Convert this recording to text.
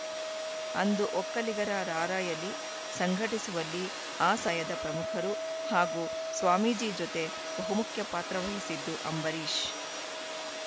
ಅಂದು ಒಕ್ಕಲಿಗರ ರಾರ‍ಯಲಿ ಸಂಘಟಿಸುವಲ್ಲಿ ಆ ಸಯದ ಪ್ರಮುಖರು ಹಾಗೂ ಸ್ವಾಮೀಜಿ ಜೊತೆ ಬಹುಮುಖ್ಯ ಪಾತ್ರವಹಿಸಿದ್ದು ಅಂಬರೀಷ್‌